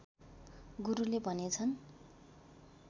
गुरुले भनेछन्